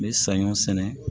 N bɛ saɲɔ sɛnɛ